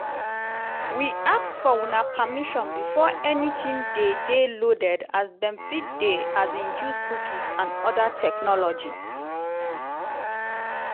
we ask for una permission before anytin dey dey loaded as dem fit dey um use cookies and oda technologies.